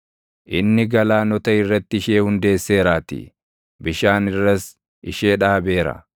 inni galaanota irratti ishee hundeesseeraatii; bishaan irras ishee dhaabeera.